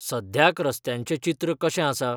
सद्याक रस्त्यांचें चित्र कशें आसा?